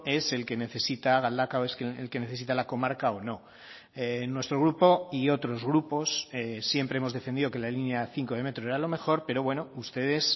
es el que necesita galdakao es el que necesita la comarca o no nuestro grupo y otros grupos siempre hemos defendido que la línea cinco de metro era lo mejor pero bueno ustedes